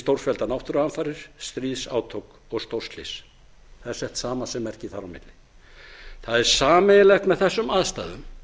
stórfelldar náttúruhamfarir stríðsátök og stórslys það er sett samasemmerki þar á milli það er sameiginlegt með þessum aðstæðum